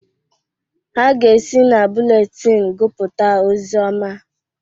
Ha ga-esi na bụletin gụpụta ọzioma